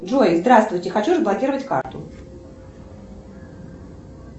джой здравствуйте хочу заблокировать карту